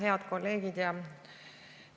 Head kolleegid!